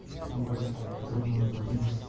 на более таком подробном уравне